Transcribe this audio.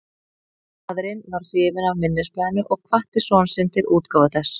Faðirinn varð hrifinn af minnisblaðinu og hvatti son sinn til útgáfu þess.